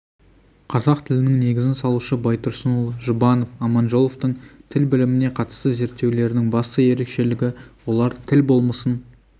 қазақ тілінің негізін салушы байтұрсынұлы жұбанов аманжоловтың тіл біліміне қатысты зерттеулерінің басты ерекшелігі олар тіл болмысын